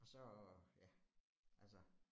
Og så, ja altså